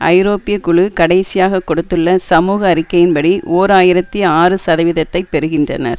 ஐரோப்பிய குழு கடைசியாக கொடுத்துள்ள சமூக அறிக்கையின்படி ஓர் ஆயிரத்தி ஆறுசதவீதத்தைப் பெறுகின்றனர்